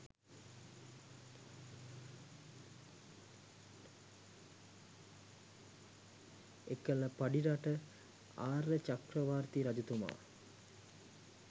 එකල පඬිරට ආර්යචක්‍රවර්ති රජතුමා